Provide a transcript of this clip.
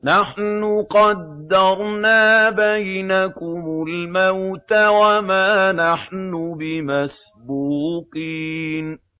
نَحْنُ قَدَّرْنَا بَيْنَكُمُ الْمَوْتَ وَمَا نَحْنُ بِمَسْبُوقِينَ